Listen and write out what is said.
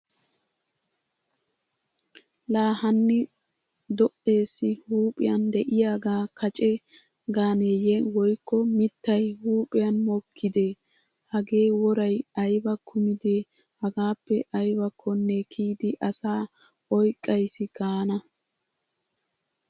Laa hanni do'eessi huuphiyan de'iyaaga kace gaaneeyye woykko mittay huuphiyan mokkide. Hagee woray ayba kumide hagaappe aybbakkonne kiyidi asa oyqqqayssi gaana.